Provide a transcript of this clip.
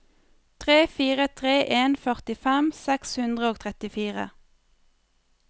tre fire tre en førtifem seks hundre og trettifire